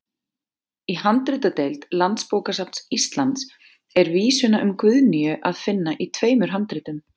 Í handritadeild Landsbókasafns Íslands er vísuna um Guðnýju að finna í tveimur handritum.